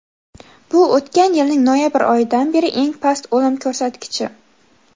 bu o‘tgan yilning noyabr oyidan beri eng past o‘lim ko‘rsatkichi.